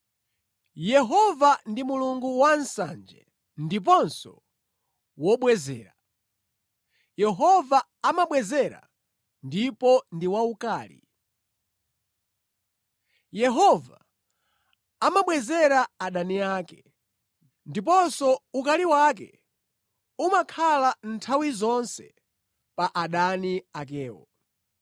Yehova ndi Mulungu wansanje ndiponso wobwezera; Yehova amabwezera ndipo ndi waukali. Yehova amabwezera adani ake ndipo ukali wake umakhala nthawi zonse pa adani akewo.